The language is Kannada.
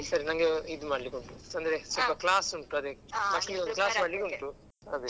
ಸರಿ ನಂಗೆ ಇದು ಮಾಡ್ಲಿಕುಂಟು ಅಂದ್ರೆ ಸ್ವಲ್ಪ class ಉಂಟು ಅದಕ್ಕೆ class ಮಾಡ್ಲಿಕುಂಟು ಅದೇ.